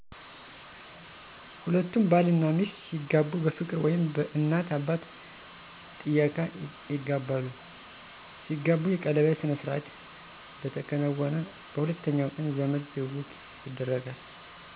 ሁለቱም ባል እናሚስት ሲጋቡ በፍቅር ወይም በእናት አባት ጥየቃ ይጋባሉ። ሲጋቡ የቀለበት ስነስርዓት በተከናወነ በሁለተኛ ቀን ዘመድ ትውውቅ ያደርጋሉ።